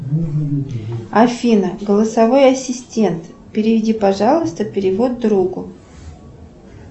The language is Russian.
афина голосовой ассистент переведи пожалуйста перевод другу